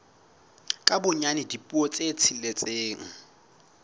ka bonyane dipuo tse tsheletseng